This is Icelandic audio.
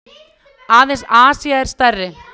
Aðeins Asía er stærri.